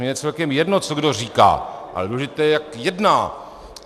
Mně je celkem jedno, co kdo říká, ale důležité je, jak jedná.